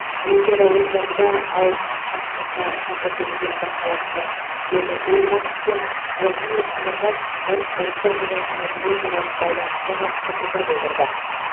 олимпиада ойындарында алыс қашықтықта шаңғы тебуден бақталастар вегард ульванг пен владимир смирнов спорт достық және мәдениетаралық байланысқа қатысты пікір білдірді